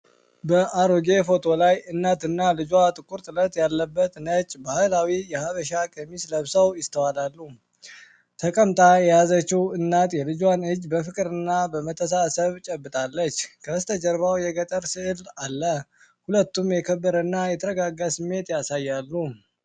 በአሮጌ ፎቶ ላይ እናትና ልጇ ጥቁር ጥለት ያለበት ነጭ ባህላዊ የሐበሻ ቀሚስ ለብሰው ይስተዋሉ። ተቀምጣ የያዘችው እናት የልጇን እጅ በፍቅርና በመተሳሰብ ጨብጣለች፤ ከበስተጀርባው የገጠር ሥዕል አለ። ሁለቱም የከበረና የተረጋጋ ስሜት ያሳያሉ።